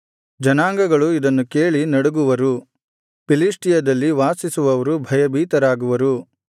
ಜನಾಂಗಗಳು ಇದನ್ನು ಕೇಳಿ ನಡುಗುವರು ಫಿಲಿಷ್ಟಿಯದಲ್ಲಿ ವಾಸಿಸುವವರು ಭಯಭೀತರಾಗುವರು